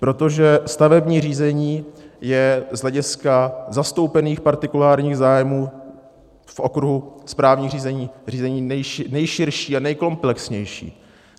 Protože stavební řízení je z hlediska zastoupených partikulárních zájmů v okruhu správních řízení řízení nejširší a nejkomplexnější.